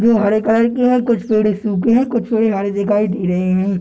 जो हरे कलर के हैं कुछ पेड़ सूखे हैं कुछ पेड़ हरे दिखाई दे रहे हैं |.